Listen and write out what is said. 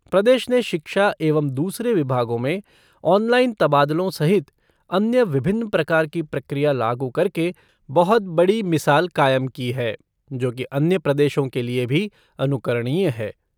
प्रदेश ने शिक्षा एवं दूसरे विभागों में ऑनलाईन तबादलों सहित अन्य विभिन्न प्रकार की प्रक्रिया लागू करके बहुत बड़ी मिसाल कायम की है जो कि अन्य प्रदेशों के लिए भी अनुकरणीय है।